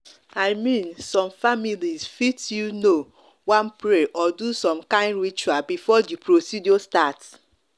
i mean some families fit you know wan pray or do some kind ritual before the procedure start.